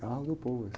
Carro do povo.